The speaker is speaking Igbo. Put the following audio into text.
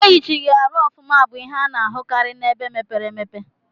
Eyichighi arụ ọfuma bu ihe ana ahukari na ebe mepere emepe.